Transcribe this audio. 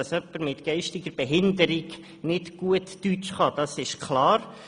Dass jemand mit einer geistigen Behinderung nicht gut Deutsch kann, ist klar.